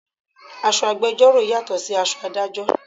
Aṣọ agbẹjoro yàtò sí aṣọ Ádájọ́.